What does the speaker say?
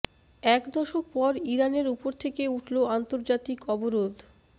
এক দশক পর ইরানের ওপর থেকে উঠল আন্তর্জাতিক অবরোধ